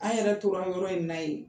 An yɛrɛ tora yɔrɔ in naye ye